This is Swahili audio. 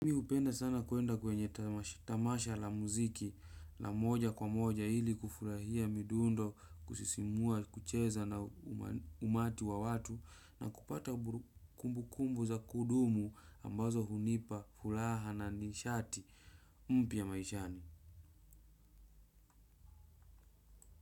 Mi hupenda sana kuenda kwenye tamasha la muziki la moja kwa moja ili kufurahia midundo kusisimua kucheza na umati wa watu na kupata kumbukumbu za kudumu ambazo hunipa furaha na nishati mpya maishani.